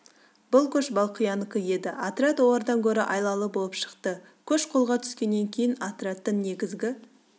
бұл көш балқиянікі еді отряд олардан гөрі айлалы болып шықты көш қолға түскеннен кейін отрядтың негізгі